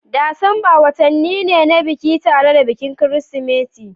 Disamba watanni ne na biki tare da bikin Kirsimeti